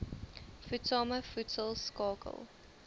voedsame voedsel skakel